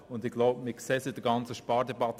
Wir sehen das ja bei der ganzen Spardebatte: